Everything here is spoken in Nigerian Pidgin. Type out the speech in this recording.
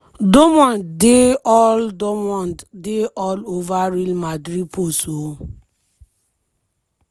dortmund dey all dortmund dey all over real madrid post oooo!